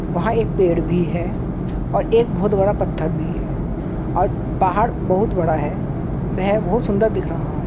वहां एक पेड़ भी है और एक बहुत बड़ा पत्थर भी है और पहाड़ बहुत बड़ा है वह बहुत सुन्दर दिख रहा है।